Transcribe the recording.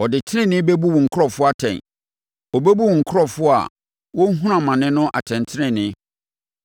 Ɔde tenenee bɛbu wo nkurɔfoɔ atɛn, ɔbɛbu wo nkurɔfoɔ a wɔrehunu amane no atɛntenenee.